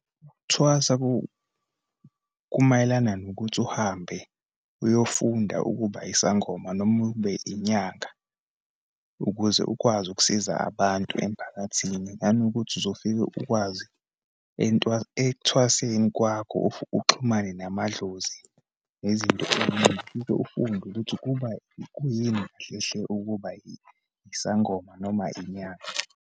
Ukuthwasa kumayelana nokuthi uhambe uyofunda ukuba isangoma, noma ube inyanga, ukuze ukwazi ukusiza abantu emphakathini. Nanokuthi, uzofike ukwazi ekuthwaseni kwakho uxhumane namadlozi, nezinto eyiningi. Ufike ufunde ukuthi kuba kuyini kahle hle ukuba isangoma noma inyanga.